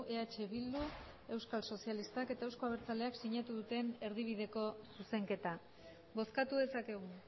eh bildu euskal sozialistak eta euzko abertzaleak sinatu duten erdibideko zuzenketa bozkatu dezakegu